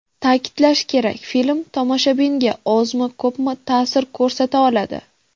Ta’kidlash kerak, film tomoshabinga, ozmi-ko‘pmi, ta’sir ko‘rsata oladi.